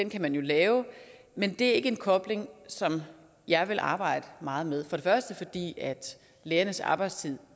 kan man jo lave men det er ikke en kobling som jeg vil arbejde meget med for det første fordi lærernes arbejdstid